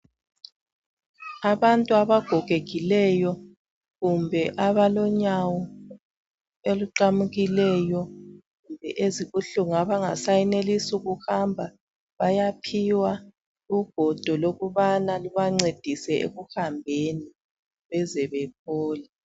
Abantu abagogekileyo kumbe abalonyawo oluqamukileyo ezibuhlungu abangasayenelisi kuhamba bayaphiwa ugodo lokubana lubancedise ekuhambeni beze bephole